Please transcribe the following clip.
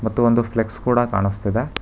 ಮತ್ತು ಒಂದು ಫ್ಲೆಕ್ಸ್ ಕೂಡ ಕಾಣಸ್ತಿದೆ.